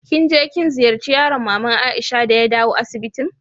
Kin je kin ziyace yaron mama'n Aisha de ya dawo asibitin?